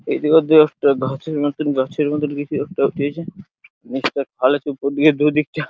এদিকে দু একটা ঘাসের মতোন গাছের মতোন কিছু একটা দিয়েছে নিচটা খালের ওপর দিয়ে দু দিকে--